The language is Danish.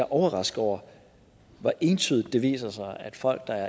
overrasket over hvor entydigt det viser sig at folk der